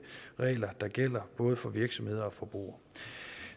regler der gælder både for virksomheder og forbrugere